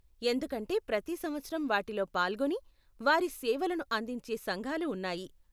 ఎందుకంటే ప్రతి సంవత్సరం వాటిలో పాల్గొని, వారి సేవలను అందించే సంఘాలు ఉన్నాయి.